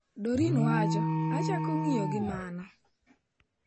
Doreen wacho: "achako ng'iyo gi mano."